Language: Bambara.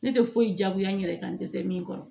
Ne tɛ foyi diyagoya n yɛrɛ kan n tɛ se min kɔrɔ